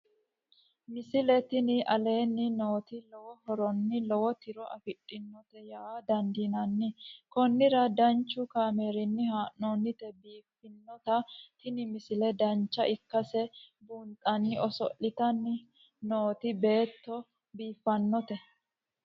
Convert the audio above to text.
misile tini aleenni nooti lowo horonna lowo tiro afidhinote yaa dandiinanni konnira danchu kaameerinni haa'noonnite biiffannote tini misile dancha ikkase buunxanni oso'litanni nooti beeto biiffannote